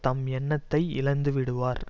தம் எண்ணத்தை இழந்து விடுவார்